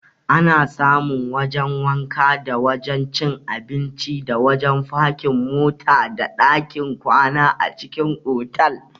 Ana samun wajan wanka, da wajan cin abinci, da wajan fakin mota, da ɗakin kwana a cikin otal.